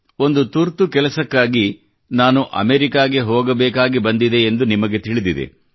ಒಂದು ತುರ್ತು ಕೆಲಸಕ್ಕಾಗಿ ನಾನು ಅಮೆರಿಕಾಗೆ ಹೋಗಬೇಕಾಗಿ ಬಂದಿದೆ ಎಂದು ನಿಮಗೆ ತಿಳಿದಿದೆ